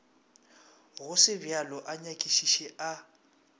go segobjalo a nyakišiše a